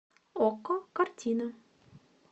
окко картина